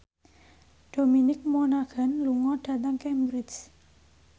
Dominic Monaghan lunga dhateng Cambridge